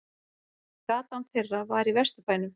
Gatan þeirra var í Vesturbænum.